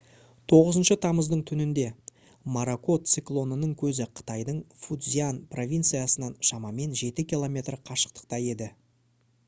9 тамыздың түнінде моракот циклонының көзі қытайдың фуцзянь провинциясынан шамамен жеті километр қашықтықта еді